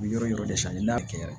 Yɔrɔ yɔrɔ de sali y'a kɛ yɔrɔ ye